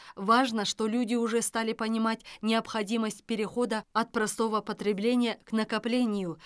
важно что люди уже стали понимать необходимость перехода от простого потребления к накоплению